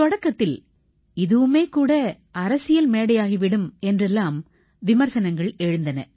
தொடக்கத்தில் இதுவுமே கூட அரசியல் மேடையாகி விடும் என்றெல்லாம் விமர்சனங்கள் எழுந்தன